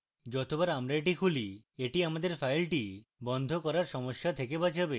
যতবার আমরা এটি খুলি এটি আমাদের file বন্ধ করার সমস্যা থেকে বাঁচাবে